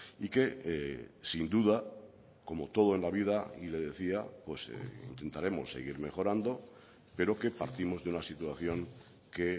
y que sin duda como todo en la vida y le decía intentaremos seguir mejorando pero que partimos de una situación que